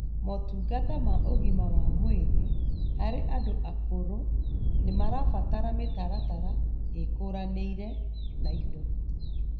Motungata ma ũgima wa mwĩrĩ harĩ andũ akũrũ nĩmarabatara mĩtaratara ĩkũranĩire na indo